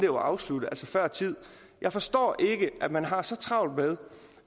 var afsluttet altså før tid jeg forstår ikke at man har så travlt med